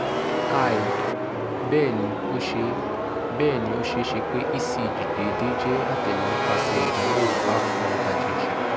hi! bẹẹni o ṣee bẹẹni o ṣee ṣe pe ecg deede jẹ atẹle nipasẹ idanwo aapọn ajeji